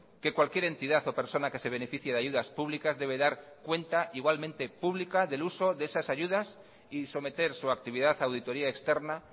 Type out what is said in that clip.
que cualquier entidad o persona que se beneficie de ayudas públicas debe dar cuenta igualmente pública del uso de esas ayudas y someter su actividad a auditoría externa